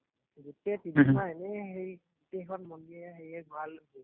গোটেই হম হম তিনিমাহ এনেই হেৰি গোটেইখন মন্দিৰে হেৰিয়ে ঘূৰাই লৈ ফুৰিছে।